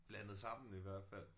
Blandet sammen i hvert fald